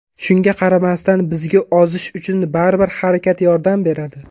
Shunga qaramasdan, bizga ozish uchun baribir harakat yordam beradi.